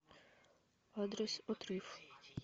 адрес отрыв